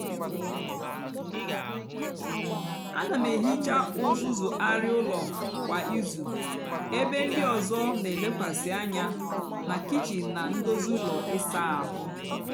áná m èhicha uzuzu arịa úló kwá ízú ébé ndị ọzọ nà-èlekwasị ányá nà kichin nà ndozi úló ịsá áhụ́.